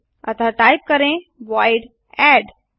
अतः टाइप करें void add